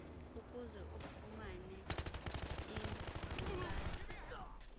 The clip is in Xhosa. ukuze ufumane iinkcukacha